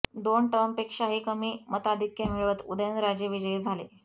दोन टर्मपेक्षाही कमी मताधिक्य मिळवत उदयनराजे विजयी झाले